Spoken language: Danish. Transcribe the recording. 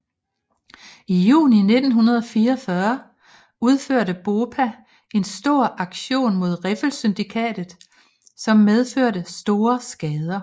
I juni 1944 udførte BOPA en stor aktion mod Riffelsyndikatet som medførte store skader